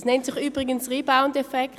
Dies nennt sich übrigens Rebound-Effekt.